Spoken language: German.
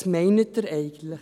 Was meinen Sie eigentlich?